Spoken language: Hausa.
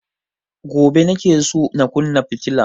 Gobe nake so na kunna fitila